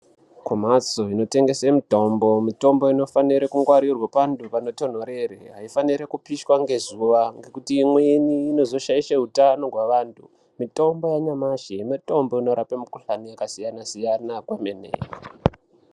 Kumhatso inotengese mitombo, mitombo inofanire kungwarirwe pantu panotonhorere. Aifanirwi kupishwa ngezuva ngekuti imweni inozoshaishe utano hwevantu. Mitombo yanyamashi mitombo inorape mikhuhlane yakasiyana-siyana kwemene.